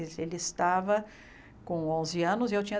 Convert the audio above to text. Ele estava com onze anos e eu tinha